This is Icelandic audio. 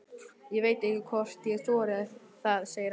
Ég veit ekki hvort ég þori það, segir hann.